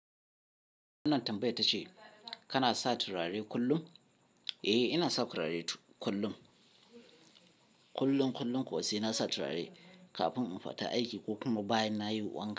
Wannan tambaya ta ce, kana sa turare kullum? Ee inasa turare kullum kullum kullum kuwa sai nasa turare kafin infita aiki kokuma bayan nayi wanka.